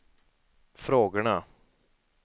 frågorna